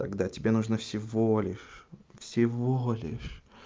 тогда тебе нужно всего лишь всего лишь